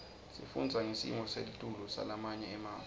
sifundza ngesimo selitulu salamanye emave